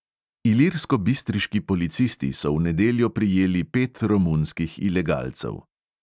Ilirskobistriški policisti so v nedeljo prijeli pet romunskih ilegalcev.